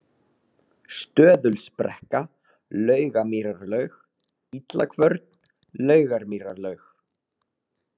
Stöðulsbrekka, Laugamýrarlaug, Illakvörn, Laugarmýrarlaug